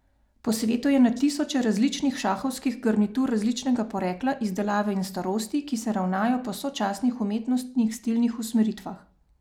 Po svetu je na tisoče različnih šahovskih garnitur različnega porekla, izdelave in starosti, ki se ravnajo po sočasnih umetnostnih stilnih usmeritvah.